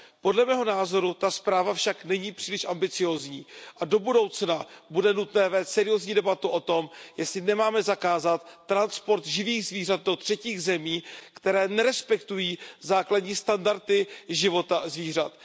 Podle mého názoru ta zpráva však není příliš ambiciózní a do budoucna bude nutné vést seriózní debatu o tom, jestli nemáme zakázat transport živých zvířat do třetích zemí, které nerespektují základní standardy života zvířat.